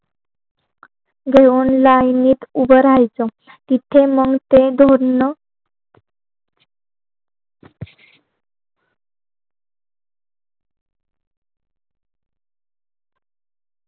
घेऊन लायनीत उभं राहायचं इथे मंग ते धोंण